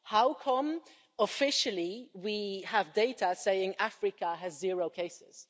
How come, officially, we have data saying Africa has zero cases?